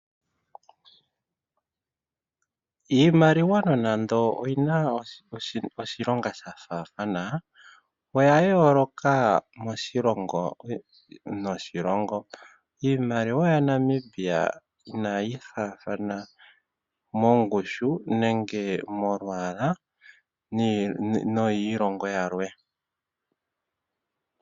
Iimaliwa nonando oyina oshilonga shafathana, oya yooloka moshilongo noshilongo. iimaliwa yaNamibia inayi faathana mongushu nenge molwaala noyiilongo yilwe.